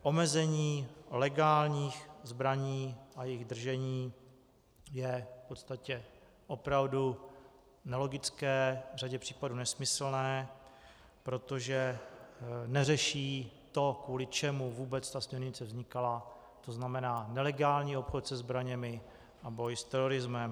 Omezení legálních zbraní a jejich držení je v podstatě opravdu nelogické, v řadě případů nesmyslné, protože neřeší to, kvůli čemu vůbec ta směrnice vznikala, to znamená nelegální obchod se zbraněmi a boj s terorismem.